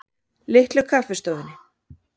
Litlu Kaffistofunni